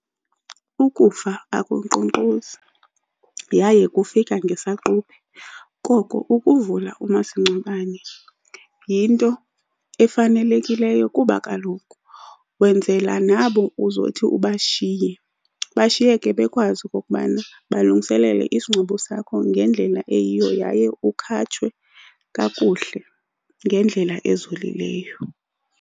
Ukufa akunkqonkqozi yaye kufika ngesaqubhe, koko ukuvula umasingcwabane yinto efanelekileyo. Kuba kaloku wenzela nabo uzothi ubashiye, bashiyeke bekwazi okokubana balungiselele isingcwabo sakho ngendlela eyiyo yaye ukhatshwa kakuhle ngendlela ezolileyo.